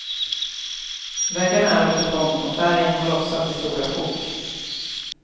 Väggarna är av betong och färgen har lossat i stora sjok.